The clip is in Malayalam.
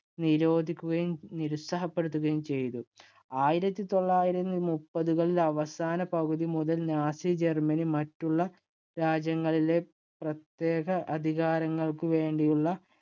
നിരോധിക്കുകയും, നിരുത്സാഹപ്പെടുത്തുകയും ചെയ്തു. ആയിരത്തി തൊള്ളായിരത്തി മുപ്പതുകളുടെ അവസാന പകുതി മുതൽ നാസി ജർമ്മനി മറ്റുള്ള രാജ്യങ്ങളിലെ പ്രത്യേക അധികാരങ്ങൾക്കു വേണ്ടിയുള്ള